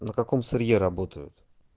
на каком сырье работают